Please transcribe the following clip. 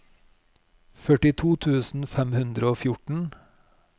førtito tusen fem hundre og fjorten